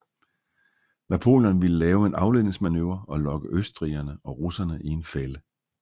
Napoleon ville lave en afledningsmanøvre og lokke østrigerne og russerne i en fælde